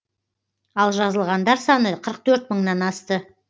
ал жазылғандар саны қырық төрт мыңнан асты